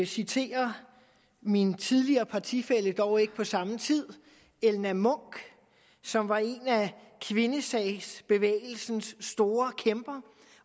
citere min tidligere partifælle dog ikke fra samme tid elna munch som var en af kvindesagsbevægelsens store kæmper